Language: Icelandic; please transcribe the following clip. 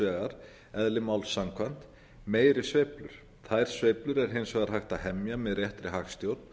vegar eðli máls samkvæmt meiri sveiflur þær sveiflur er hins var hægt að hemja með réttri hagstjórn